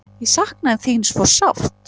Ég sakna þín svo sárt.